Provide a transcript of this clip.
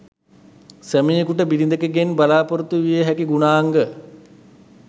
සැමියකුට බිරිඳකගෙන් බලාපොරොත්තු විය හැකි ගුණාංග